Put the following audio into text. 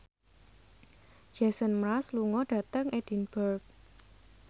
Jason Mraz lunga dhateng Edinburgh